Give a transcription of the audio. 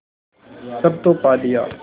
सब तो पा लिया